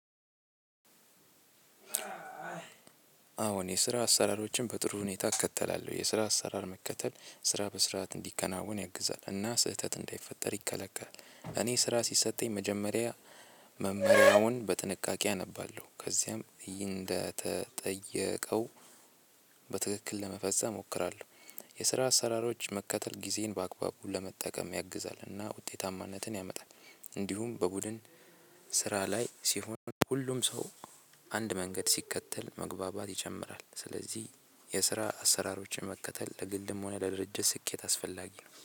አዎን የስራ አሰራሮችን በጥሩ ሁኔታ እከተላለሁ የስራ አሰራር መከተል ስራ በስርዓት እንዲከናወን ያግዛል እና ስህተት እንዳይፈጠር ይከላከላል። እኔ ስራ ሲሰጠኝ መጀመሪያ መመሪያውን በጥንቃቄ አነባለሁ ከዚያም እንደተጠየቀው በትክክል ለመፈጸም እሞክራለሁ። የስራ አሰራሮች መከተል ጊዜን በአግባቡ ለመጠቀም ያግዛልና ውጤታማነትን ያመጣል። እንዲሁም በቡድን ስራ ላይ ሲሆን ሁሉም ሰው አንድ መንገድ ሲከተል መግባባት ይጨምራል። ስለዚህ የስራ አሰራሮችን መከተል ለግልም ሆነ ለድርጅት ስኬት አስፈላጊ ነው